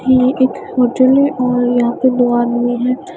ये एक होटल है और यहां पे दो आदमी हैं।